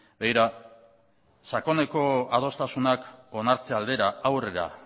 begira sakoneko adostasunak onartze aldera aurrera